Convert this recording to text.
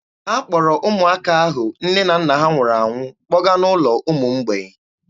Ha kpọrọ ụmụaka ahụ nne na nna ha nwụrụ kpọga n'ụlọ ụmụ mgbei.